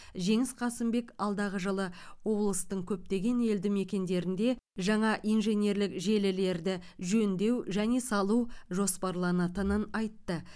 жеңіс қасымбек алдағы жылы облыстың көптеген елді мекендерінде жаңа инженерлік желілерді жөндеу және салу жоспарланатынын айтты